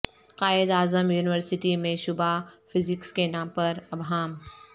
Quaid-e-Azam university میں شعبہ physics کے نام پر ابہام